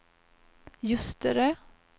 Ljusterö